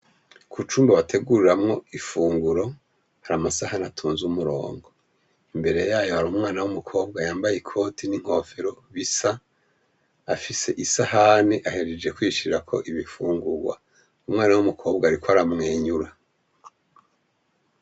Ku Cumba bateguriramwo ifunguro ,hari amasahani atonze umurongo ,mbere yayo hari umwana wumukobwa yambaye ikoti n'inkofero bisa afise isahani ahejeje kuyishirako ibifungurwa , umwana wumukobwa ariko aramwenyura .